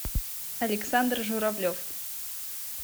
александр журавлев